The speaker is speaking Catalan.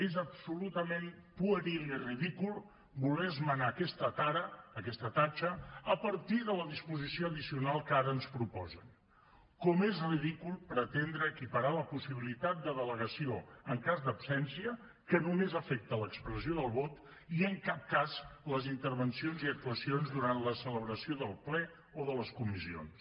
és absolutament pueril i ridícul voler esmenar aquesta tara aquesta tatxa a partir de la disposició addicional que ara ens proposen com és ridícul pretendre equiparar la possibilitat de delegació en cas d’absència que només afecta l’expressió del vot i en cap cas les intervencions i actuacions durant la celebració del ple o de les comissions